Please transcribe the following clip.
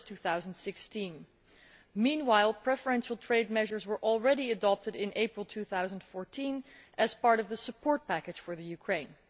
2016. Meanwhile, preferential trade measures were already adopted in April 2014 as part of the support package for Ukraine.